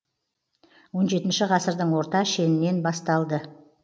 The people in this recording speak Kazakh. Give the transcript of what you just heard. он жетінші ғасырдың орта шенінен басталды